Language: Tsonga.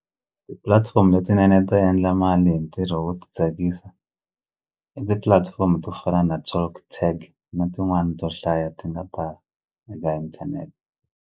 Ti-platform letinene to endla mali hi ntirho wo ti tsakisa i ti-platform to fana na TalkTag na tin'wani to hlaya ti nga ta eka inthanete.